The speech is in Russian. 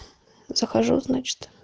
захожу значит